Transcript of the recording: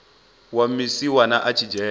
wa musiwana a tshi dzhena